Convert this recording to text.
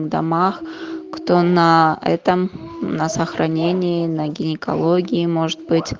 домах кто на этом на сохранении на гинекологии может быть